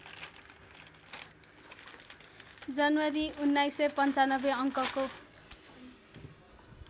जनवरी १९९५ अङ्कको